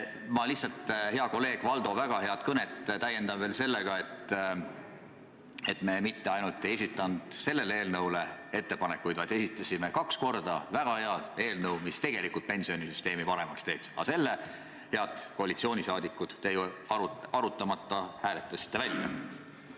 Ma lihtsalt Valdo väga head kõnet täiendan veel sellega, et me mitte ainult ei esitanud selle eelnõu muutmiseks ettepanekuid, vaid esitasime kaks korda väga hea eelnõu, mis pensionisüsteemi paremaks teeks, aga need, head koalitsioonisaadikud, te ju arutamata hääletasite menetlusest välja.